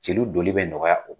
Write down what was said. Celu donli bɛ nɔgɔya o